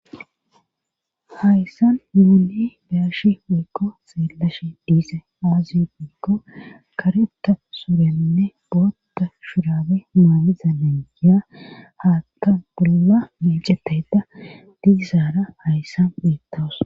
Hayssan yuuni daarshi weykko seelashi diise aazi beikko kareta surenne bootta shurabe maamiza lengiya haakka bolla meecetayda diizaara hayssan beettaos.